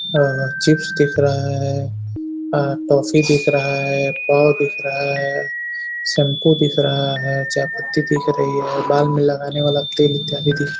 अ chips दिख रहा है। अ टॉफी दिख रहा है। पाव दिख रहा है। शैम्पू दिख रहा है। चायपत्ती दिख रही है। बाल में लगाने वाला तेल इत्यादि दिख --